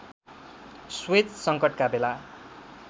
Suez सङ्कटका बेला